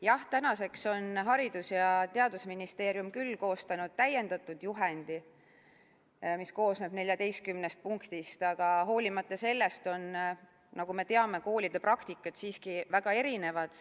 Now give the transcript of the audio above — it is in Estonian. Jah, tänaseks on Haridus- ja Teadusministeerium koostanud täiendatud juhendi, mis koosneb 14 punktist, aga hoolimata sellest on, nagu me teame, koolide praktikad siiski väga erinevad.